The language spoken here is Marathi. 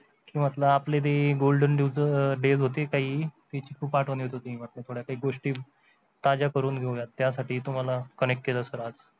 की म्हटलं आपले ते golden days होते काही त्याची खूप आठवण येत होती म्हटलं थोड्या काही गोष्टी ताज्या करून घेऊयात त्यासाठी तुम्हाला connect केलं सर आज